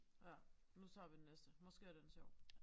Ja nu tager vi den næste måske er den sjov